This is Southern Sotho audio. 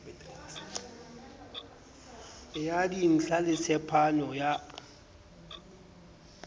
ya dintla le tsepamo ya